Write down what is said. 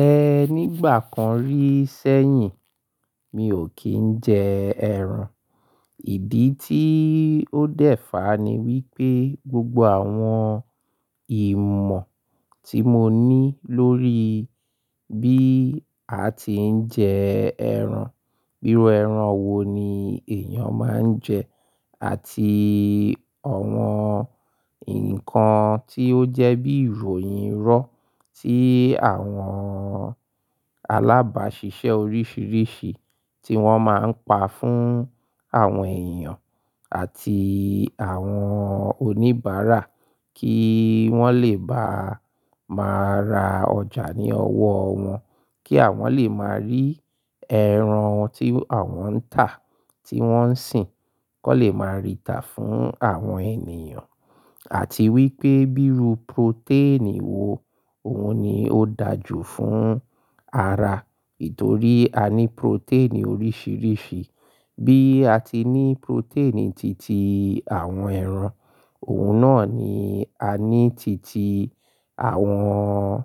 Ẹ nígbà kan rí sẹ́yìn, mi ò kí ń jẹ ẹran. Ìdí tí ó dẹ̀ fáa ni wípé gbogbo àwọn ìmọ̀ tí mo ní lórí bí a ti ń jẹ ẹran, iru ẹran wo ni èèyàn máa ń jẹ àti àwọn nǹkan tí ó jẹ́ bí ìròyìn iró tí àwọn alábàáṣiṣẹ́ oríṣiríṣi tí wọ́n máa ń pa fún àwọn èèyàn àti àwọn oníbàárà kí wọ́n lè bá máa ra ọjà ní ọwọ́ wọn, kí àwọn lè máa rí ẹran tí àwọn ń tà, tí wọ́n ń sìn ki won lè máa rí ìtà fún àwọn ènìyàn àti wípé bíi ru protein wo òun ni ó dàajù fún ara. Nítorí a ní protein oríṣiríṣi. Bí a ti ní protein titi àwọn ẹran, òun náà ni a ní titi àwọn,